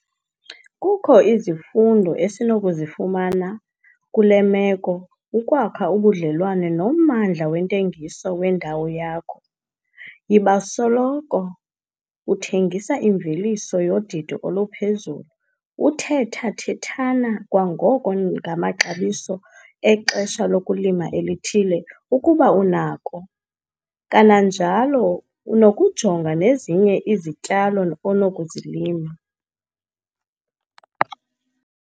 Kukho izifundo esinokuzifumana kule meko - ukwakha ubudlelane nommandla wentengiso wendawo yakho, yiba soloko uthengisa imveliso yodidi oluphezulu, uthetha-thethana kwangoko ngamaxabiso exesha lokulima elithile, ukuba unakho, kananjalo unokujonga nezinye izityalo onokuzilima.